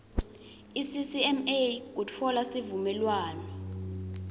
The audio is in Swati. iccma kutfola sivumelwano